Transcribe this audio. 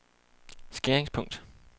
skæringspunkt